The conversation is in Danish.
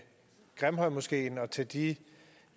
de